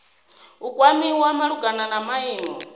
u kwamiwa malugana na maimo